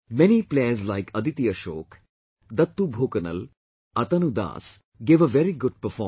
Many players like Aditi Ashok, Dattu Bhokanal, Atanu Das gave a very good performance